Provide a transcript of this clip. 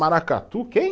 Maracatu, quem?